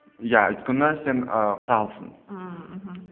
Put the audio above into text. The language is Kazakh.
иә өйткені сен ііі құралсың ммм мхм